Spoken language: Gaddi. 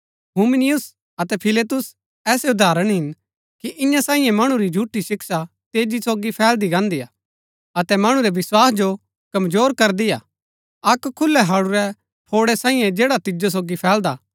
हुमिनयुस अतै फिलेतुस ऐसै उदाहरण हिन कि इन्या सांईये मणु री झूठी शिक्षा तेजी सोगी फैलदी गान्दी हा अतै मणु रै विस्वास जो कमजोर करदी हा अक्क खुलै हडुरै फौड़ै सांईये जैड़ा तेजी सोगी फैलदा हा